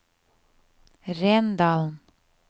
Rendalen